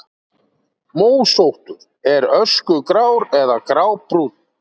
Mósóttur: Er öskugrár eða grábrúnn.